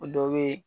O dɔ be yen